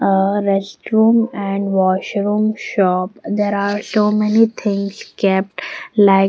ah restroom and washroom shop there are so many things kept like--